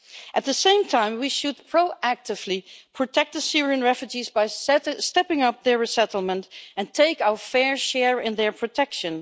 At the same time we should proactively protect the Syrian refugees by stepping up their resettlement and take our fair share in their protection.